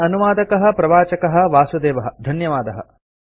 अस्य अनुवादकः प्रवाचकः वासुदेवः धन्यवादः